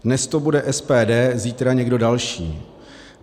Dnes to bude SPD, zítra někdo další.